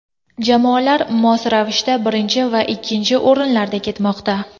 Jamoalar mos ravishda birinchi va ikkinchi o‘rinlarda ketmoqda.